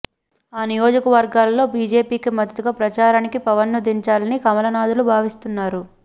ఆ నియోజకవర్గాల్లో బీజేపీకి మద్దతుగా ప్రచారానికి పవన్ ను దించాలని కమలనాధులు భావిస్తున్నారు